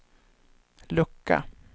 lucka